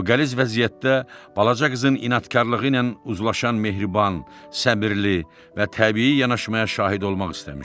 eqaliz vəziyyətdə balaca qızın inadkarlığı ilə uzlaşan mehriban, səbirli və təbii yanaşmaya şahid olmaq istəmişdi.